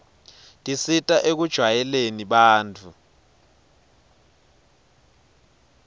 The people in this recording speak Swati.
tisita ekujwayeleni bantfu